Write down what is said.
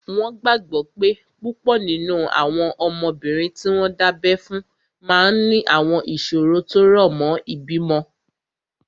Wọ́n gbàgbọ́ pé púpọ̀ nínú àwọn ọmọbìnrin tí wọ́n dábẹ́ fún máa ní àwọn ìṣòro tó rọ̀ mọ́ ìbímọ